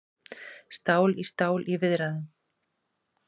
Stál í stál í viðræðum